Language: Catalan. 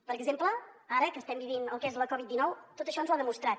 per exemple ara que estem vivint el que és la covid dinou tot això ens ho ha demostrat